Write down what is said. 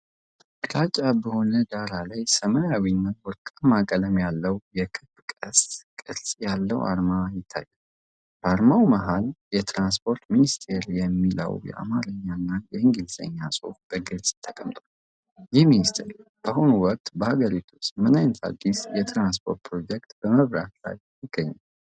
ግራጫ በሆነ ዳራ ላይ፣ ሰማያዊና ወርቃማ ቀለም ያለው፣ የክብ ቀስት ቅርጽ ያለው አርማ ይታያል። በአርማው መሃል "የትራንስፖርት ሚኒስቴር" የሚለው የአማርኛና የእንግሊዝኛ ጽሑፍ በግልጽ ተቀምጧል። ይህ ሚኒስቴር በአሁኑ ወቅት በአገሪቱ ውስጥ ምን ዓይነት አዲስ የትራንስፖርት ፕሮጀክት በመምራት ላይ ይገኛል?